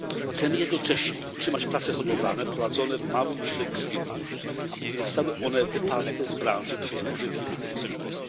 Chcemy jednocześnie utrzymać pracę hodowlane prowadzone w małych i średnich firmach, aby nie zostały one wyparte z branży przez duże firmy tego sektora.